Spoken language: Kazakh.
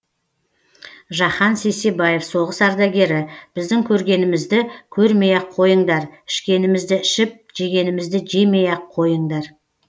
жахан сейсебаев соғыс ардагері біздің көргенімізді көрмей ақ қойыңдар ішкенімізді ішіп жегенімізді жемей ақ қойыңдар